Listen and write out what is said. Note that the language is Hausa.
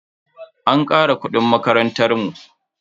An kara kudin makarantan mu.